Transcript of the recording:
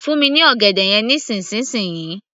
fún mi ní ọ̀gẹ̀dẹ̀ yẹn nísìnsisìyí